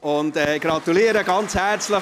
Monika Müller, ich gratuliere ganz herzlich!